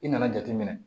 I nana jateminɛ